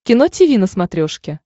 кино тиви на смотрешке